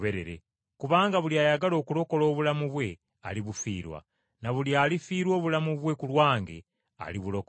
Kubanga buli ayagala okulokola obulamu bwe, alibufiirwa. Na buli alifiirwa obulamu bwe ku lwange alibulokola.